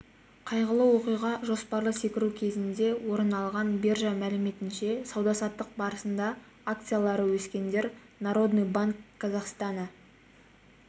қайғылы оқиға жоспарлы секіру кезінде орын алған биржа мәліметінше сауда-саттық барысында акциялары өскендер народный банк казахстана